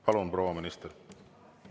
Palun, proua minister!